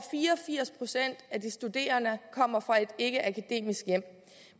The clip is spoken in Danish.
firs procent af de studerende kommer fra et ikkeakademisk hjem